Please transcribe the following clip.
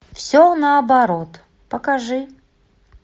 все наоборот покажи